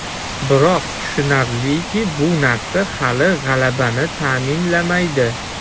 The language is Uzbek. Biroq, tushunarliki, bu narsa hali g‘alabani ta’minlamaydi.